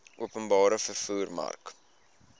openbare vervoer mark